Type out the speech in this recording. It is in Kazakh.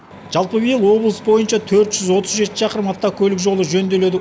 жалпы биыл облыс бойынша төрт жүз отыз жеті шақырым автокөлік жолы жөнделеді